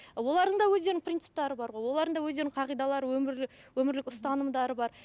олардың да өздерінің принциптері бар ғой олардың да өздеріңің қағидалары өмірлік өмірлік ұстанымдары бар